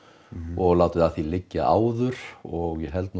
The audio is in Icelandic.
og látið að því liggja áður og ég held